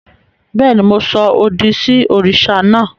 Béèni, Mo sọ òdì sí òrìṣà naa